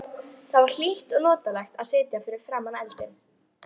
Það var hlýtt og notalegt að sitja fyrir framan eldinn.